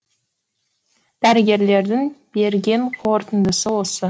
дәрігерлердің берген қорытындысы осы